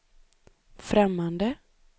främmande